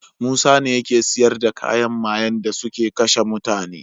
Musa ne yake siyar da kayan mayen dasuke kashe mutane